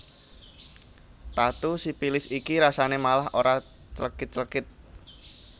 Tatu sipilis iki rasane malah ora clekit clekit